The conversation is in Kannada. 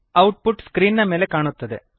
ಔಟ್ ಪುಟ್ ಸ್ಕ್ರೀನ್ ನ ಮೇಲೆ ಕಾಣುತ್ತದೆ